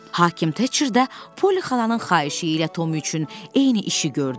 Hakim Teçər də poli xalanın xahişi ilə Tom üçün eyni işi gördü.